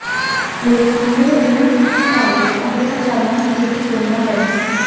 लेकिन उन्हें बिना किसी सिफारिश और बिना चालान के ही छोड़ना पड़ा